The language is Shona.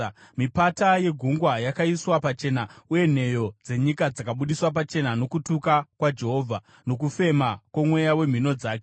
Mipata yegungwa yakaiswa pachena uye nheyo dzenyika dzakabudiswa pachena nokutuka kwaJehovha, nokufema kwomweya wemhino dzake.